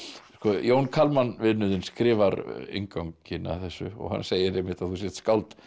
Jón Kalman vinur þinn skrifar innganginn að þessu og hann segir einmitt að þú sért skáld